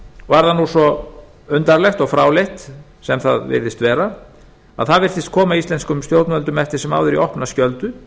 var það nú svo eins undarlegt og fráleitt sem það virðist vera að það virtist eftir sem áður koma íslenskum stjórnvöldum í opna skjöldu